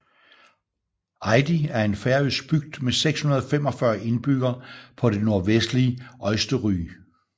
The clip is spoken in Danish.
Eiði er en færøsk bygd med 645 indbyggere på det nordvestlige Eysturoy